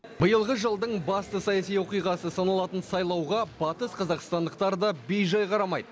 биылғы жылдың басты саяси оқиғасы саналатын сайлауға батысқазақстандықтар да бейжай қарамайды